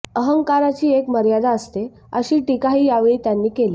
अहंकाराची एक मर्यादा असते अशी टीकाही यावेळी त्यांनी केली